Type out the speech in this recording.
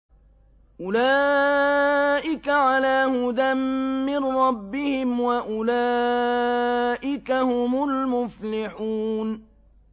أُولَٰئِكَ عَلَىٰ هُدًى مِّن رَّبِّهِمْ ۖ وَأُولَٰئِكَ هُمُ الْمُفْلِحُونَ